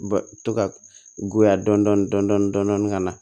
Ba to ka goya dɔɔni dɔɔni dɔɔni ka na